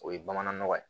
O ye bamanan nɔgɔ ye